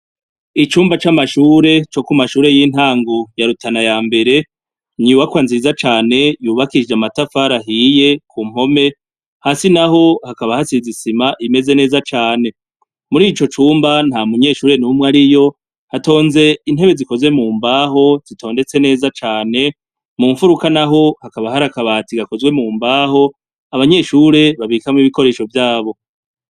Icumba c'amashure co ku mashure y'intangu yarutana ya mbere nibakwa nziza cane yubakishije amatafara ahiye ku mpome hasi na ho hakaba hasizisima imeze neza cane muri ico cumba nta munyeshure n'umwe ari yo hatonze intebe zikoze mu mbaho zitondetse neza cane mu mfuruka na ho hakaba hari akabati gakozwe mu mbaho abanyeshure babikamwo ibikoresho vyabo.